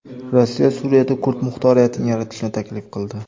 Rossiya Suriyada kurd muxtoriyatini yaratishni taklif qildi.